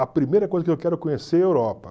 A primeira coisa que eu quero conhecer é a Europa.